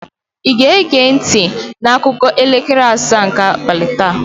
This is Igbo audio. Ị ga-ege ntị akụkọ elekere asaa nke abalị taa?